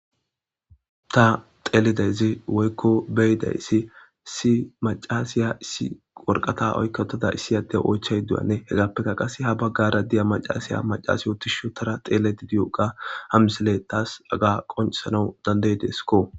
ta xeelidazi woykko beyidayssi si macasiya issi worqata oykkatada issi adde oychay duyane hegappeka qase ha baggara diya macaasiya macasiyotishotara xeele didiyoqa ha misele taas aga qoncesanau danday deeskko